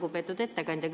Lugupeetud ettekandja!